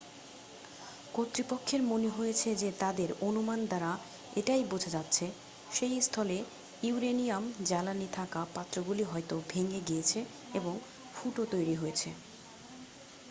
কর্তৃপক্ষের মনে হয়েছে যে তাদের অনুমান দ্বারা এটাই বোঝা যাচ্ছে সেই স্থলে ইউরেনিয়াম জ্বালানি থাকা পাত্রগুলি হয়তো ভেঙে গিয়েছে এবং ফুটো তৈরি হয়েছে